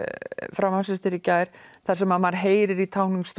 frá Manchester í gær þar sem maður heyrir í